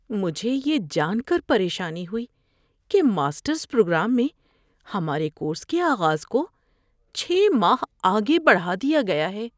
‏مجھے یہ جان کر پریشانی ہوئی کہ ماسٹرز پروگرام میں ہمارے کورس کے آغاز کو چھے ماہ آگے بڑھا دیا گیا ہے‏۔